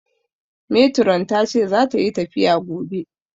Metiron tace zata yi tafiya gobe